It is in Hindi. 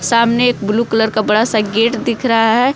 सामने एक ब्लू कलर का बड़ा सा गेट दिख रहा है।